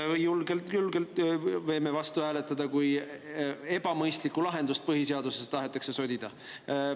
Nii et julgelt võime selle vastu hääletada, kui ebamõistlikku lahendust tahetakse põhiseadusesse sodida.